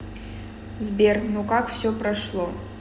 сбер ну как все прошло